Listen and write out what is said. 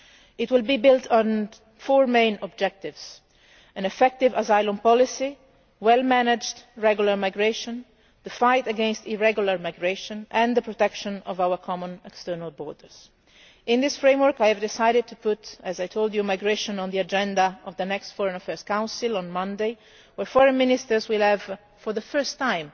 It will be built on four main objectives an effective asylum policy, well managed regular migration, the fight against irregular migration and protection of our common external borders. In this framework I have decided, as I told you, to put migration on the agenda of the next Foreign Affairs Council on Monday where Foreign Ministers will have, for the first